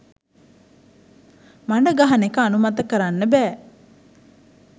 මඩ ගහනෙක අනුමත කරන්න බැ.